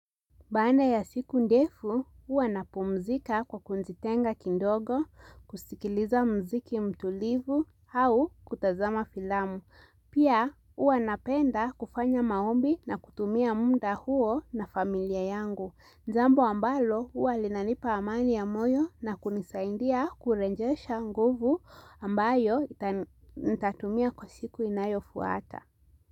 Baada ya siku ndefu, huwa napumzika kwa kujitenga kidogo, kusikiliza mziki mtulivu, au kutazama filamu. Pia, huwa napenda kufanya maombi na kutumia muda huo na familia yangu. Ni jambo ambalo, huwa linanipa amani ya moyo na kunisaidia kurejesha nguvu ambayo nitatumia kwa siku inayo fuata.